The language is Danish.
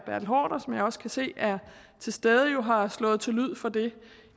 som jeg også kan se er til stede jo har slået til lyd for det